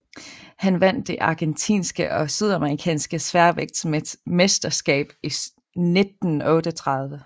Han vandt det argentinske og sydamerikanske sværvægtsmesterskab i 1938